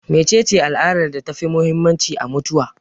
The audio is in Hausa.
Me cece al'adar da ta fi muhimmanci a mutuwa?